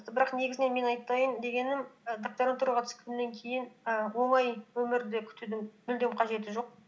бірақ негізінен мен айтайын дегенім і докторантураға түскеннен кейін і оңай өмірді күтудің мүлдем қажеті жоқ